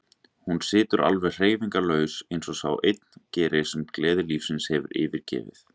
Hún situr alveg hreyfingarlaus, eins og sá einn gerir sem gleði lífsins hefur yfirgefið.